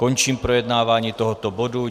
Končím projednávání tohoto bodu.